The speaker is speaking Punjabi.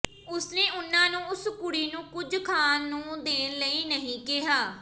ਉਸਨੇ ਉਨ੍ਹਾਂ ਨੂੰ ਉਸ ਕੁਡ਼ੀ ਨੂੰ ਕੁਝ ਖਾਣ ਨੂੰ ਦੇਣ ਲਈ ਕਿਹਾ